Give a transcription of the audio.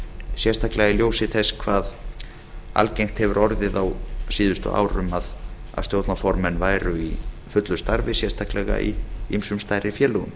sérstaklega í ljósi þess hve algengt hefur orðið á síðustu árum að stjórnarformann væru í fullu starfi sérstaklega í ýmsum stærri félögum